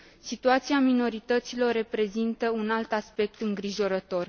Situația minorităților reprezintă un alt aspect îngrijorător.